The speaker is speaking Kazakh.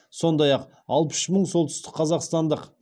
сондай ақ алпыс үш мың солтүстік қазақстандық